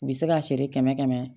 U bɛ se k'a feere kɛmɛ kɛmɛ